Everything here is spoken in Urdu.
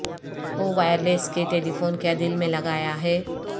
وہ وائرلیس کہ ٹیلیفون کیا دل میں لگایا ہے